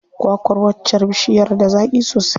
Kwa kwar waccar bishiyar da zaƙi sosai.